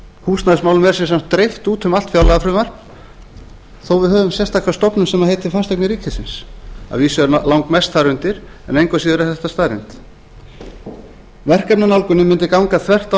er sem sagt dreift út um allt fjárlagafrumvarp þó við höfum sértaka stofnun sem heitir fasteignir ríkisins að vísu er langmest þar undir en engu að síður er þetta staðreynd verkefnanálgunin myndi ganga þvert á